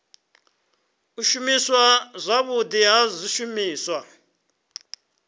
u shumiswa zwavhudi ha zwishumiswa